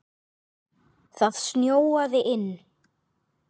Það snjóaði inn.